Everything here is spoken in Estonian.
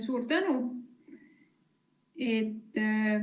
Suur tänu!